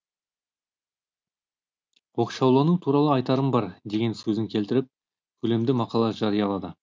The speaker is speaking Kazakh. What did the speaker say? оқшаулану туралы айтарым бар деген сөзін келтіріп көлемді мақала жариялады